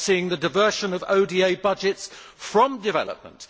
We are seeing the diversion of ODA budgets away from development.